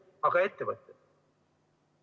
Aga ettevõtted?